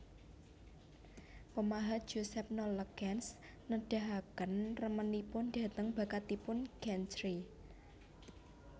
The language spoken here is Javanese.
Pemahat Joseph Nollekens nedahaken remenipun dhateng bakatipun Chantrey